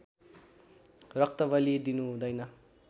रक्तबलि दिनु हुँदैन